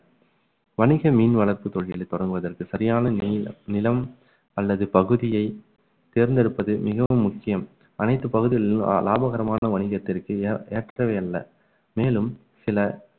வணிக மீன் வளர்ப்பு தொழில்களை தொடங்குவதற்கு சரியான நி~ நிலம் அல்லது பகுதியை தேர்ந்தெடுப்பது மிகவும் முக்கியம் அனைத்து பகுதிகளிலும் லா~ லாபகரமான வணிகத்திற்கு ஏ~ ஏற்றவை அல்ல மேலும் சில